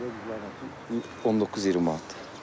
19-20 manatdır.